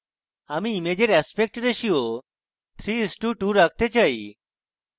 আমি ইমেজের aspect ratio 3:2 রাখতে চাই